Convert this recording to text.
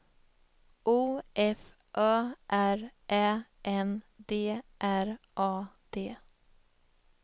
O F Ö R Ä N D R A D